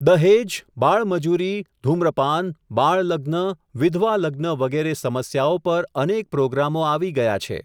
દહેજ, બાળમજૂરી, ઘૂમ્રપાન, બાળલગ્ન, વિધવાલગ્ન વગેરે સમસ્યાઓ પર અનેક પ્રોગ્રામો આવી ગયા છે.